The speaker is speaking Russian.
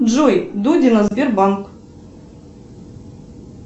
джой дудина сбербанк